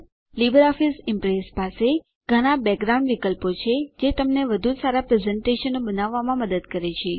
Libre office Impress પાસે ઘણા background વિકલ્પો છે જે તમને વધુ સારાં પ્રેઝેંટેશનો પ્રસ્તુતિઓ બનાવવામાં મદદ કરે છે